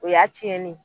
O y'a tiɲɛnen ye